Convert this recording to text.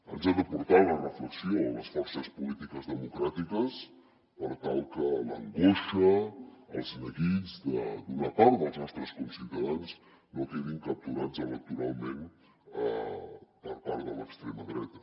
ens ha de portar a la reflexió a les forces polítiques democràtiques per tal que l’angoixa els neguits d’una part dels nostres conciutadans no quedin capturats electoralment per part de l’extrema dreta